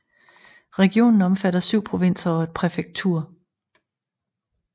Regionen omfatter 7 provinser og et præfektur